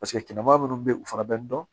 Paseke kilema munnu be yen u fɛnɛ bɛ dɔn